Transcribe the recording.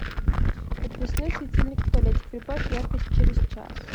подвесной светильник в туалете прибавь яркость через час